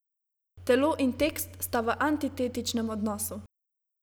Telo in tekst sta v antitetičnem odnosu.